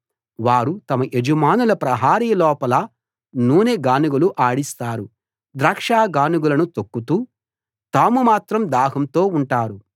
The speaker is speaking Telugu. వారు తమ యజమానుల ప్రహరీ లోపల నూనె గానుగలు ఆడిస్తారు ద్రాక్ష గానుగలను తొక్కుతూ తాము మాత్రం దాహంతో ఉంటారు